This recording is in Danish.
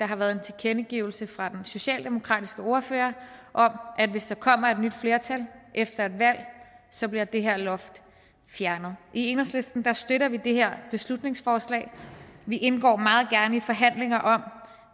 har været en tilkendegivelse fra den socialdemokratiske ordfører om at hvis der kommer et nyt flertal efter et valg så bliver det her loft fjernet i enhedslisten støtter vi det her beslutningsforslag vi indgår meget gerne i forhandlinger om